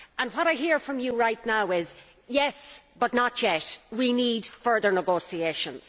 What I hear from you right now is yes, but not yet we need further negotiations.